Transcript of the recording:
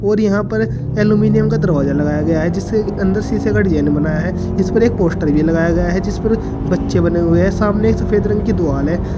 और यहां पर एल्युमिनियम का दरवाजा लगाया गया है जिसके अंदर शीशे का डिजाइन बनाया है इसपर एक पोस्टर भी लगाया गया है जिसपर बच्चे बने हुए हैं सामने सफेद रंग की दीवाल है।